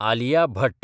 Alia Bhatt